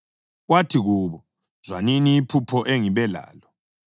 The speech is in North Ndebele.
Wathi kubo, “Zwanini iphupho engibe lalo: